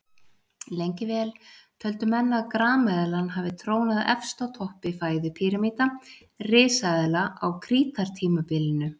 Lengi vel töldu menn að grameðlan hafi trónað efst á toppi fæðupíramíta risaeðla á krítartímabilinu.